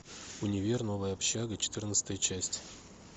универ новая общага четырнадцатая часть